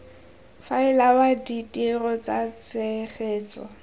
faela wa ditiro tsa tshegetso